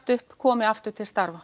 upp komi aftur til starfa